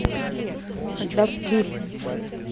доп ви